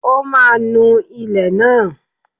Ó máa nu ilé náà